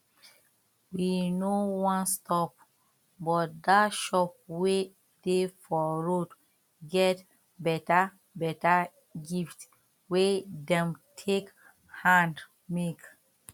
we no wan stop but that shop wey dey for road get beta beta gift wey dem take hand make